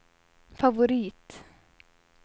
favorit